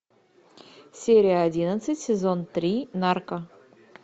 серия одиннадцать сезон три нарко